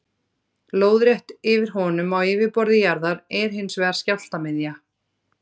Lóðrétt yfir honum á yfirborði jarðar er hins vegar skjálftamiðja.